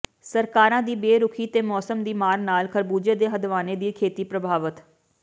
ਸਰਕਾਰਾਂ ਦੀ ਬੇਰੁਖੀ ਤੇ ਮੌਸਮ ਦੀ ਮਾਰ ਨਾਲ ਖਰਬੁਜੇ ਤੇ ਹਦਵਾਣੇ ਦੀ ਖੇਤੀ ਪ੍ਰਭਾਵਤ